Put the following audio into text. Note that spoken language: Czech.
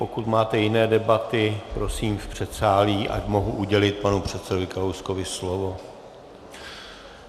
Pokud máte jiné debaty, prosím v předsálí, ať mohu udělit panu předsedovi Kalouskovi slovo.